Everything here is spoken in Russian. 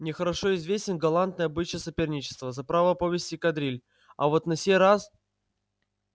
мне хорошо известен галантный обычай соперничества за право повести кадриль а вот на сей раз